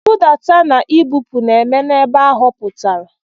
Nbudata na ibupu na-eme n'ebe a họpụtara.